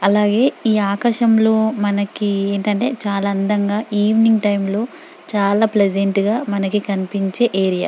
అలాగే ఈ ఆకాశంలో మనకి ఏంటంటే చాల అందంగా ఈవెనింగ్ టైం లో చాల ప్లెసెంట్గా మనకి కనిపించే ఏరియా .